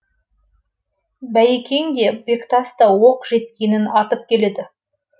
байекең де бектас та оқ жеткенін атып келеді